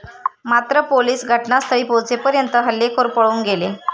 मात्र पोलिस घटनास्थळी पोहचेपर्यंत हल्लेखोर पळून गेले.